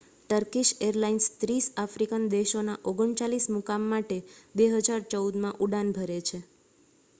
Turkish airlines 30 African દેશોના 39 મુકામ માટે 2014 માં ઉડાન ભરે છે